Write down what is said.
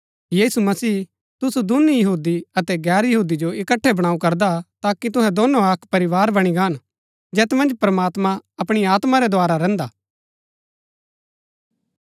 यीशु मसीह तुसु दूनी यहूदी अतै गैर यहूदी जो इकट्ठै बणाऊ करदा हा ताकि तुहै दोनो अक्क परिवार बणी गान जैत मन्ज प्रमात्मां अपणी आत्मा रै द्धारा रैहन्दा हा